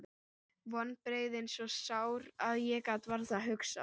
Vonbrigðin svo sár að ég gat varla hugsað.